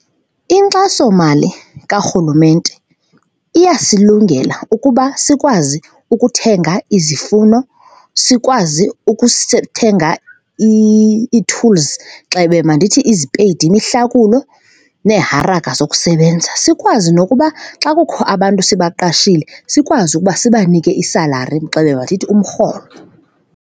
Inkxasomali karhulumente iyasilungela ukuba sikwazi ukuthenga izifuno, sikwazi ukuthenga ii-tools, gxebe mandithi izipeyidi, imihlakulo neeharaka zokusebenza, sikwazi nokuba xa kukho abantu sibaqashile, sikwazi ukuba sibanike i-salary, gxebe mandithi umrholo.